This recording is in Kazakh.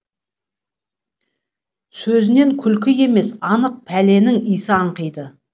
сөзінен күлкі емес анық пәленің иісі аңқиды